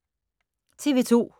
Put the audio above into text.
TV 2